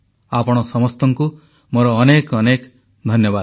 ଆପଣ ସମସ୍ତଙ୍କୁ ମୋର ଅନେକ ଅନେକ ଧନ୍ୟବାଦ